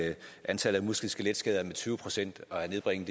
antallet af muskel og skeletskader med tyve procent og at nedbringe